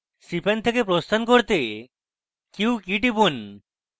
cpan থেকে প্রস্থান করতে q key টিপুন